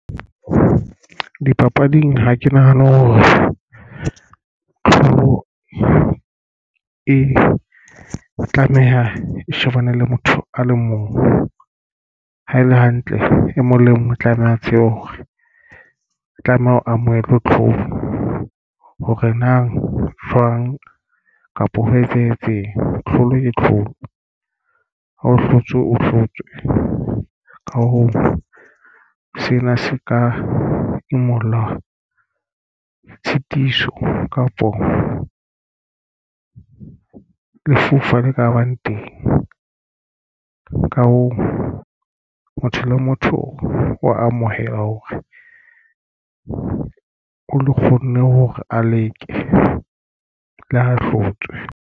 Di dipapading ha ke nahane hore ntho e e tlameha e shebane le motho a le mong ha e le hantle e mong le mong o tlameha a tsebe hore o tlameha ho amohela tlholo hore nang jwang kapa ho etsahetseng. Tlholo ke tlholo. Ha o hlotse o hlotswe ka hoo sena se ka imulla tshitiso kapo o lefufa le ka bang teng. Ka hoo, motho le motho o amohela hore o kgonne hore a leke le ha hlotswe.